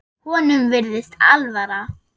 Honum virðist alvara.